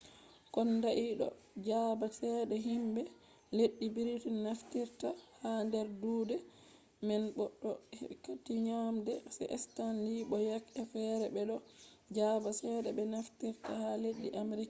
kondai ɓe ɗo jaɓa cede himɓe leddi britin naftirfta ha nder duuɗe man bo to be kati nyamande je stanli bo yak e fere ɓe ɗo jaɓa cede ɓe naftirta ha leddi amerika